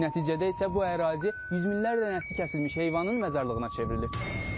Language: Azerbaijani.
Nəticədə isə bu ərazisi 100 minlərdən nəsti kəsilmiş heyvanın məzarlığına çevrilib.